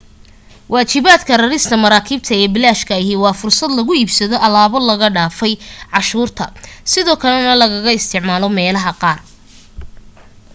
waajibadka rarista marakibta ee bilashka ahi waa fursada lagu iibsado alaabo laga dhaafay canshuurta sidoo kalena lagaga isticmaalo meelaha qaar